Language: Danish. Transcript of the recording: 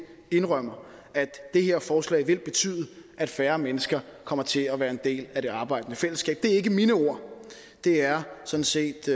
indrømmer at det her forslag vil betyde at færre mennesker kommer til at være en del af det arbejdende fællesskab det er ikke mine ord det er sådan set